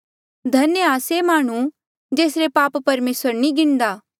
धन्य आ से माह्णुं जेसरे पाप परमेसर नी गिणदा